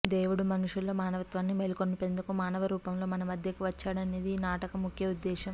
దేవుడు మనుషుల్లో మావనత్వాన్ని మేల్కొలిపెందుకు మానవరూపంలో మన మధ్యకి వచ్చాడు అనేది ఈ నాటిక ముఖ్య ఉద్దేశ్యం